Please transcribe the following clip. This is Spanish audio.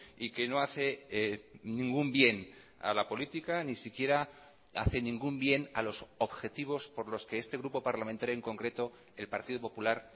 y que no hace ningún bien a la política ni siquiera hace ningún bien a los objetivos por los que este grupo parlamentario en concreto el partido popular